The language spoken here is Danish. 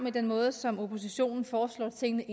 i den måde som oppositionen foreslår at tingene